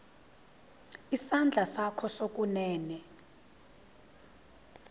isandla sakho sokunene